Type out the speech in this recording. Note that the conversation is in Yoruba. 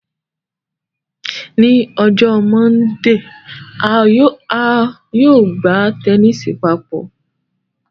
Ni ọjọ Mọndee, a yóò gba tẹnisi papọ